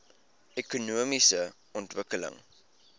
ekonomiese ontwikkeling